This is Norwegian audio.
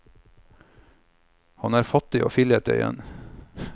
Han er fattig og fillete igjen.